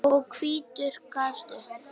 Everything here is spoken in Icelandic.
og hvítur gafst upp.